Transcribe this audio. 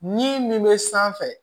Min min bɛ sanfɛ